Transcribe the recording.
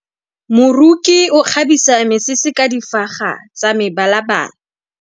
Moroki o kgabisa mesese ka difaga tsa mebalabala.